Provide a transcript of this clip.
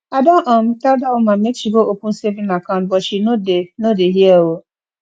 i don um tell dat woman make she go open saving account but she no dey no dey hear um